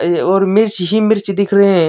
और मिर्च ही मिर्च दिख रहे है।